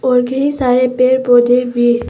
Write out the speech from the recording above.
और कई सारे पेड़ पौधे भी है।